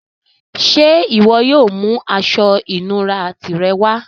Ṣẹ́ iwo yóò mú àṣọ-ìnúrà tirẹ wà?